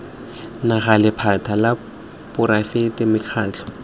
naga lephata la poraefete mekgatlho